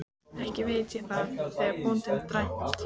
Ekki veit ég það, sagði bóndinn dræmt.